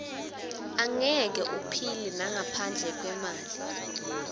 angeke uphile nangaphandle kwemali